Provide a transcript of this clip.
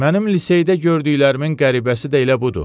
Mənim liseydə gördüklərimin qəribəsi də elə budur.